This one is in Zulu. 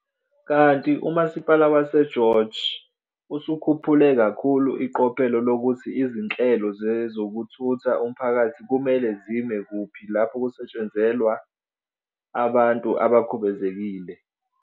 Kanti uMasipala waseGeorge usukhuphule kakhulu iqophelo lokuthi izinhlelo zezokuthutha umphakathi kumele zime kuphi lapho kusetshenzelwa abantu abakhubazekile.